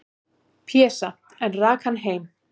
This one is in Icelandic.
"""Pésa, en rak hann heim."""